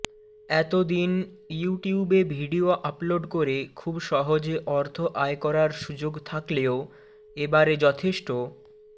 এত দিন ইউটিউবে ভিডিও আপলোড করে খুব সহজে অর্থ আয় করার সুযোগ থাকলেও এবারে যথেষ্ট